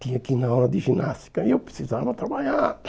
Tinha que ir na aula de ginástica e eu precisava trabalhar.